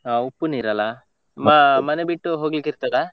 ಹಾ ಉಪ್ಪು ನೀರು ಅಲ್ಲ, ಮ~ ಮನೆ ಬಿಟ್ಟು ಹೋಗ್ಲಿಕ್ಕೆ ಇರ್ತದಾ?